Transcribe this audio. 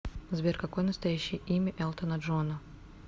сбер какое настоящее имя элтона джона